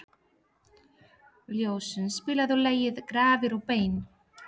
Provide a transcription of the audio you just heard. Ljósunn, spilaðu lagið „Grafir og bein“.